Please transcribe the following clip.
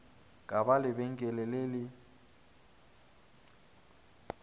ka ba lebenkele le le